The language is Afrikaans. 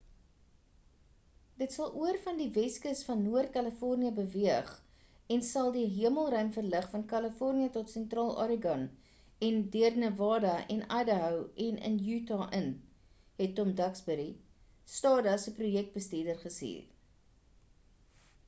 dit sal oor van die weskus van noord-kalifornië beweeg en sal die hemelruim verlig van kalifornië tot sentraal oregon en deur nevada en idaho en in utah in het tom duxbury stardust se projekbestuurder gesê